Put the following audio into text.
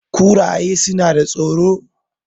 kuraye suna da tsoro